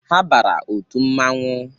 Ha bara otu mmanwụ